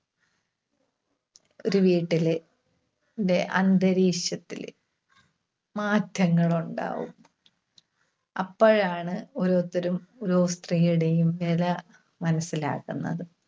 ഒരു വീട്ടില്~ന്റെ അന്തരീക്ഷത്തില് മാറ്റങ്ങള് ഉണ്ടാവും. അപ്പോഴാണ് ഓരോരുത്തരും ഓരോ സ്ത്രീയുടെയും വില മനസ്സിലാക്കുന്നത്‌.